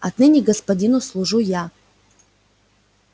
отныне господину служу я